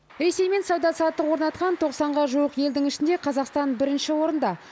ресеймен сауда саттық орнатқан тоқсанға жуық елдің ішінде қазақстан бірінші орында